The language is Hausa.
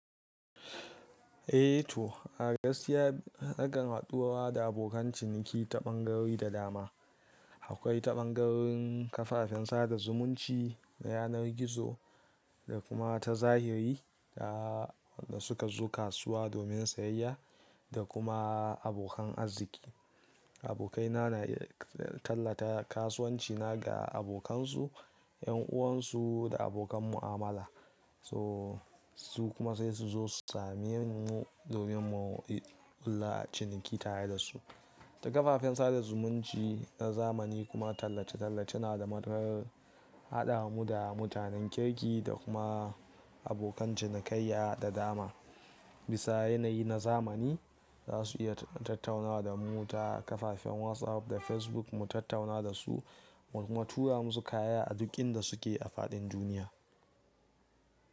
Eh to, a gaskiya naƙan haduwa da abokan ciniki ta ɓangarori da dama. Eh to, a gaskiya naƙan haduwa da abokan ciniki ta ɓangarori da dama. Abokaina na tallata kasuwanci na ga abokansu, ƴan uwansu da abokan mu'amala. So, su kuma sai su zo same mu domin mu kulla ciniki tare da su. Ta kafafen sada zumunci na zamani kuma tallace-tallace na da madar haɗa mu da mutanen kirki da kuma abokan cinikayya da dama. Bisa yanayi na zamani za su iya tattaunawa da mu ta kafafen WhatsApp da Facebook mu tattauna da su mu kuma tura musu kaya a duk inda su ke a faɗin duniya.